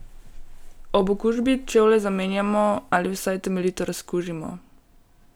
Ob okužbi čevlje zamenjamo ali vsaj temeljito razkužimo!